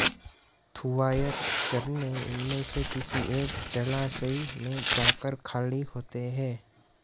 थूवायर झरने इनमें से किसी एक जलाशय में जाकर खाली होते हैं